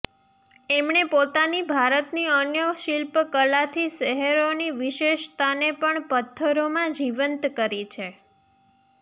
એમણે પોતાની ભારતની અન્ય શિલ્પ કલાથી શહેરોની વિશેષતાને પણ પથ્થરોમાં જીવંત કરી છે